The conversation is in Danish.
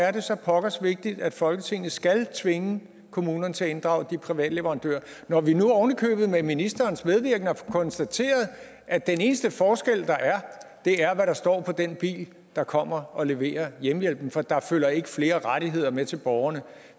er så pokkers vigtigt at folketinget skal tvinge kommunerne til at inddrage de private leverandører når vi nu oven i købet med ministerens medvirken har konstateret at den eneste forskel der er er hvad der står på den bil der kommer og leverer hjemmehjælpen for der følger ikke flere rettigheder med til borgerne